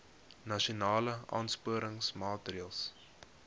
nasionale aansporingsmaatre ls